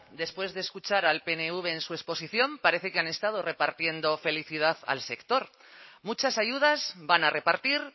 después de escuchar al pnv en su exposición parece que han estado repartiendo felicidad al sector muchas ayudas van a repartir